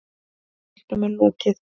Leiknum er lokið